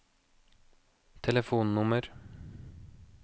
telefonnummer